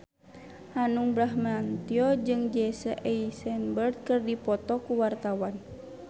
Hanung Bramantyo jeung Jesse Eisenberg keur dipoto ku wartawan